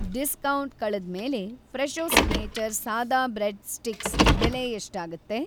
Discount ಕಳೆದ್ಮೇಲೆ Fresho signature ಸಾದಾ bread sticks ಬೆಲೆ ಎಷ್ಟಾಗತ್ತೆ?